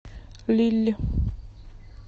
лилль